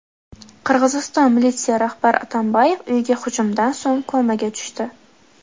Qirg‘iziston militsiya rahbari Atambayev uyiga hujumdan so‘ng komaga tushdi.